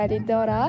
Çox gözəl idi ora.